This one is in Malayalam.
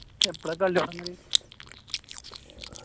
എപ്പോളാ കളി തൊടങ്ങല്